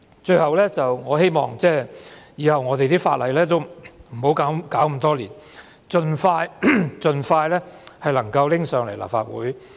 最後，我希望日後不要拖那麼多年才修訂法例，必須盡快提交立法會。